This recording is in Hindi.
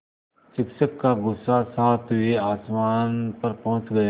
शिक्षक का गुस्सा सातवें आसमान पर पहुँच गया